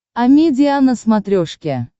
амедиа на смотрешке